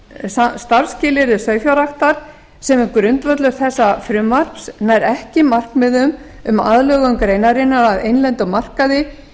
um starfsskilyrði sauðfjárræktar sem er grundvöllur þessa frumvarps nær ekki markmiðum um aðlögun greinarinnar að innlendum markaði